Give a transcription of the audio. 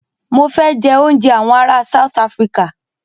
Mọ fẹ jẹ òúnjẹ awọn ará South Africa.